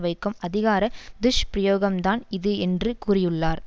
வைக்கும் அதிகாரத் துஷ்பிரயோகம் தான் இது என்று கூறியுள்ளார்